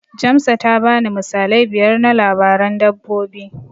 Jamsa ta bani misalai biyar na labaran dabbobi.